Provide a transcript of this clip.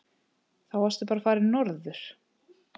Þá varstu bara farinn norður.